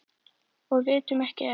Og vitum ekki enn.